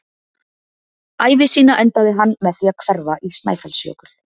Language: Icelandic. Ævi sína endaði hann með því að hverfa í Snæfellsjökul.